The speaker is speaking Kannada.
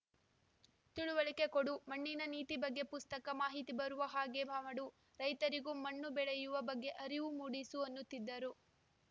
ತಿಳುವಳಿಕೆ ಕೊಡು ಮಣ್ಣಿನ ನೀತಿ ಬಗ್ಗೆ ಪುಸ್ತಕ ಮಾಹಿತಿ ಬರುವ ಹಾಗೆ ಪಹಾಡು ರೈತರಿಗೂ ಮಣ್ಣು ಬೆಳೆಯುವ ಬಗ್ಗೆ ಅರಿವು ಮೂಡಿಸು ಅನ್ನುತ್ತಿದ್ದರು